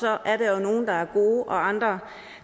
er nogle der er gode og andre